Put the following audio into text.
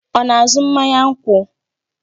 Ọ na-azụ mmanya nkwụ?